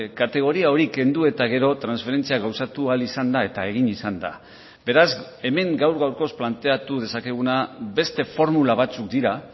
kategoria hori kendu eta gero transferentzia gauzatu ahal izan da eta egin izan da beraz hemen gaur gaurkoz planteatu dezakeguna beste formula batzuk dira